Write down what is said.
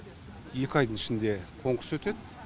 екі айдың ішінде конкурс өтеді